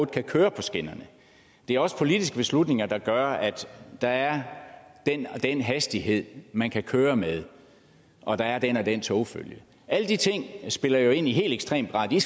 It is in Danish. kan køre på skinnerne det er også politiske beslutninger der gør at der er den den hastighed man kan køre med og at der er den og den togfølge alle de ting spiller jo i helt ekstrem grad ind